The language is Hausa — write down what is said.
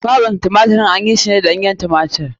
Kwaɓin tumatirin an yi su ne da ɗanyen tumatir.